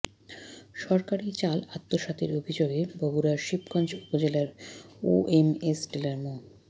সরকারি চাল আত্মসাতের অভিযোগে বগুড়ার শিবগঞ্জ উপজেলার ওএমএস ডিলার মো